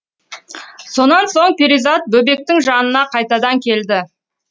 сонан соң перизат бөбектің жанына қайтадан келді